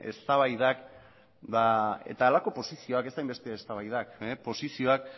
eztabaidak eta halako posizioak ez hainbeste eztabaidak posizioak